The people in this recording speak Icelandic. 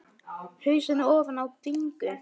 Hausinn ofan í bringu.